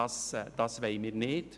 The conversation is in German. Das wollen wir nicht.